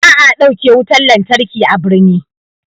Ba'a ɗauke wutan lantarki a birni.